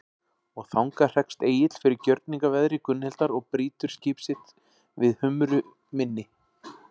Og þangað hrekst Egill fyrir gjörningaveðri Gunnhildar og brýtur skip sitt við Humru mynni.